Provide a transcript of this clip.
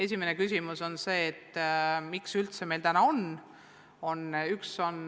Põhiküsimus on see, miks meil üldse nende õpetajate puudus on.